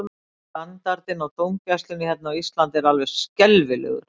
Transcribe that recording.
Standardinn á dómgæslunni hérna á Íslandi er alveg skelfilegur.